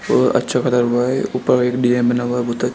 और अच्छा कलर हुआ है ऊपर एक डिजाइन बना हुआ--